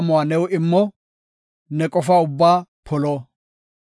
Ne wozanaa amuwa new immo; ne qofaa ubbaa polo.